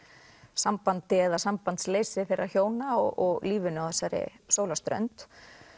sambandi eða sambandsleysi þeirra hjóna og lífinu á þessari sólarströnd